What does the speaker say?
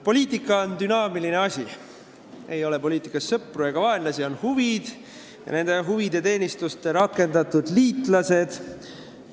Poliitika on dünaamiline asi, ei ole poliitikas sõpru ega vaenlasi, on huvid ja nende huvide teenistusse rakendatud liitlased.